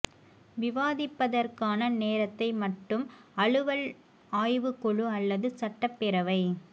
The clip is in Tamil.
விவாதிப்பதற்கான நேரத்தை மட்டும் அலுவல் ஆய்வுக் குழு அல்லது சட்டப் பேரவை